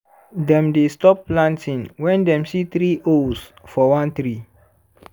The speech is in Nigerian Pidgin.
dem dey stop planting when dem see three owls for one tree.